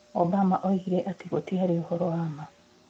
Obama oigire atĩ gũtiarĩ ũhoro wa ma.